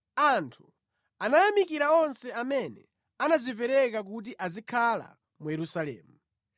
Anthu anayamikira onse amene anadzipereka kuti azikhala mu Yerusalemu.